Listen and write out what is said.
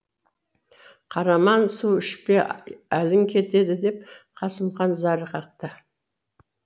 қараман су ішпе әлің кетеді деп қасымхан зар қақты